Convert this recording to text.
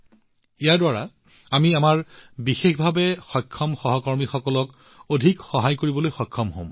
ইয়াৰ দ্বাৰা আমি আমাৰ অন্যধৰণে সক্ষম সহকৰ্মীসকলক যিমান সম্ভৱ সহায় কৰিবলৈ সক্ষম হম